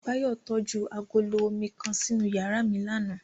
Bayo tọju agolo omi kan sinu yara mi làná